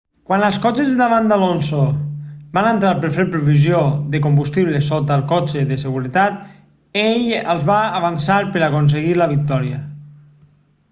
quan els cotxes de davant d'alonso van entrar per fer provisió de combustible sota el cotxe de seguretat ell els va avançar per aconseguir la victòria